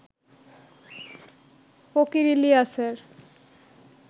ফকির ইলিয়াসের